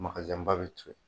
Makazinba bɛ to yen.